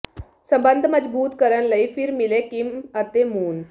ਸਬੰਧ ਮਜ਼ਬੂਤ ਕਰਨ ਲਈ ਫਿਰ ਮਿਲੇ ਕਿਮ ਅਤੇ ਮੂਨ